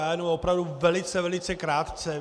Já jenom opravdu velice, velice krátce.